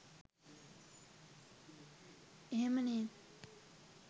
එහෙම නේද?